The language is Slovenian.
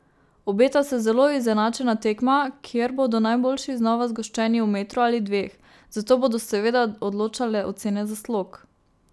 Obeta se zelo izenačena tekma, kjer bodo najboljši znova zgoščeni v metru ali dveh, zato bodo seveda odločale ocene za slog.